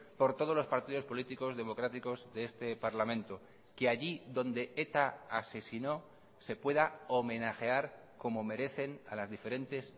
por todos los partidos políticos democráticos de este parlamento que allí donde eta asesinó se pueda homenajear como merecen a las diferentes